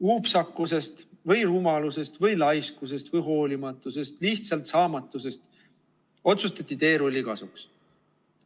Upsakusest või rumalusest või laiskusest või hoolimatusest, lihtsalt saamatusest otsustati teerulli kasuks.